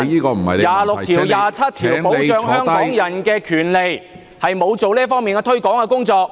第二十六條和第二十七條保障香港人的權利，他沒有做到這方面的推廣工作。